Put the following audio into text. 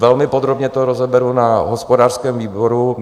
Velmi podrobně to rozeberu na hospodářském výboru.